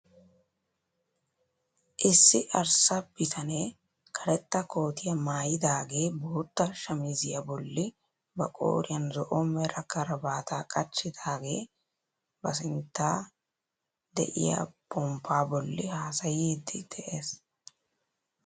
Issi arssa bitanee karetta kootiyaa maayidagee bootta shamisiyaa bolli ba qooriyaan zo'o mera karabaataa qachchidaagee ba sinttan de'iyaa ponppaa bolli hasaayiidi de'ees.